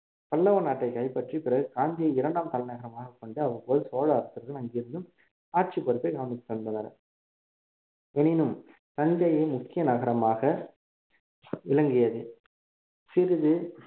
பல்லவ நாட்டை கைப்பற்றி பிறகு காஞ்சியை இரண்டாம் தலைநகரமாகக் கொண்டு அவ்வப்போது சோழ அரசர்கள் அங்கிருந்தும் ஆட்சிப் பொறுப்பை கவனித்துவந்தனர் எனினும் தஞ்சையே முக்கிய நகரமாக விளங்கியது சிறிது